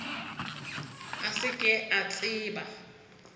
a se ke a tseba